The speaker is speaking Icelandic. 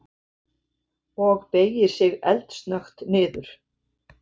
Og beygir sig eldsnöggt niður.